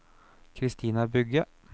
Christina Bugge